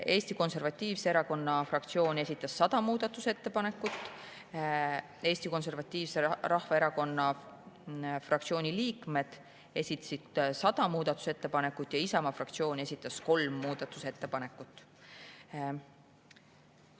Eesti Konservatiivse Rahvaerakonna fraktsioon esitas 100 muudatusettepanekut, Eesti Konservatiivse Rahvaerakonna fraktsiooni liikmed esitasid 100 muudatusettepanekut ja Isamaa fraktsioon esitas kolm muudatusettepanekut.